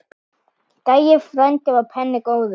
Gæi frændi var penni góður.